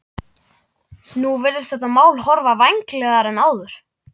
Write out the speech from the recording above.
Nú virðist þetta mál horfa vænlegar en áður.